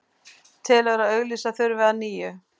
Telur að auglýsa þurfi að nýju